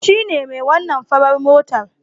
Shine mai wannan farar motar